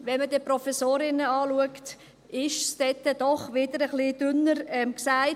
Wenn man dann aber die Professorinnen anschaut, sind diese doch wieder ein wenig dünner gesät.